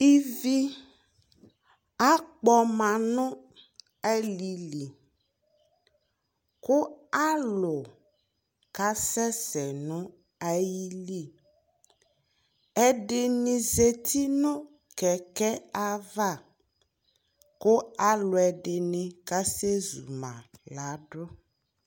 ivi akpɔma no alili kò alò ka sɛ sɛ no ayili ɛdini zati no kɛkɛ ava kò alo ɛdini ka sɛ zuma ladu